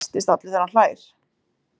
Og hristist allur þegar hann hlær.